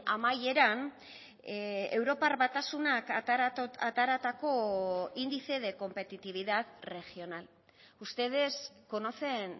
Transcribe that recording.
amaieran europar batasunak ateratako índice de competitividad regional ustedes conocen